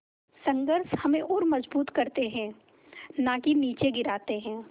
संघर्ष हमें और मजबूत करते हैं नाकि निचे गिराते हैं